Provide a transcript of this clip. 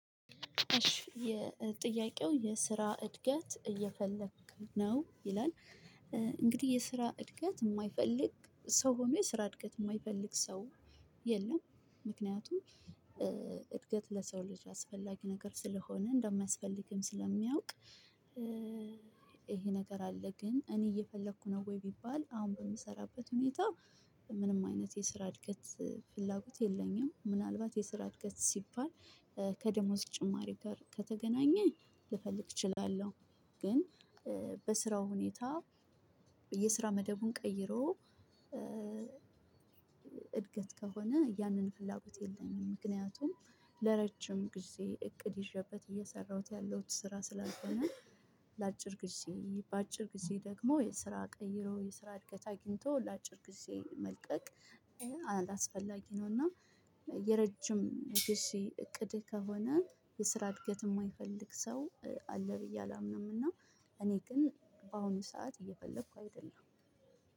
እሽ የጥያቄው የስራ እድገት እየፈለክ ነው ይላል? እንግዲህ የስራ እድገት የማይፈልግ ሰው ሆኖ የስራ እድገት የማይፈልግ ሰው የለም። ምክንያቱም እድገት ለሰው ልጅ አስፈላጊ ነገር ስለሆነ እንደማያስፈልግም ስለሚያውቅ። ነገር አለ ግን እኔ እየፈለኩ ነው ወይ ቢባል አሁን በምሰራበት ሁኔታ። ምንም አይነት የስራ እድገት ፍላጎት የለኝም። ምናልባት የስራ እድገት ሲባል ከደሞዝ ጭማሪ ጋር ከተገናኘ ልፈልግ እችላለሁ። ግን በስራው ሁኔታ የስራ መደቡን ቀይሮ። እድገት ከሆነ ያንን ፍላጎት የለኝም ምክንያቱም ለረጅም ጊዜ እቅድ ይዤበት እየሰራሁት ያለሁት ስራ ስላልሆነ። ለአጭር ጊዜ በአጭር ጊዜ ደግሞ የስራ ቀይሮ የስራ እድገት አግኝቶ ለአጭር ጊዜ መልቀቅ አላስፈላጊ ነው። እና የረጅም ጊዜ እቅድ ከሆነ የስራ እድገት የማይፈልግ ሰው አለ ብዬ አላምንምና። እኔ ግን በአሁኑ ሰዓት እየፈለኩ አይደለም።